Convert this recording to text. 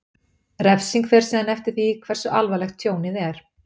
Refsing fer síðan eftir því hversu alvarlegt tjónið er.